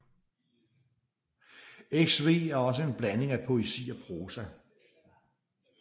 XV er også en blanding af poesi og prosa